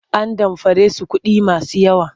An damfare su kuɗi masu yawa.